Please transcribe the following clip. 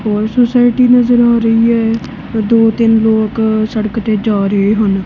ਹੋਰ ਸੋਸਾਇਟੀ ਨਜ਼ਰ ਆ ਰਹੀ ਹੈ ਦੋ ਤਿੰਨ ਲੋਕ ਸੜਕ ਤੇ ਜਾ ਰਹੇ ਹਨ।